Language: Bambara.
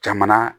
Jamana